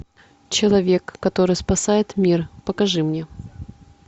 человек который спасает мир покажи мне